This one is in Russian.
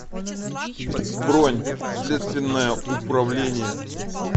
бронь следственное управление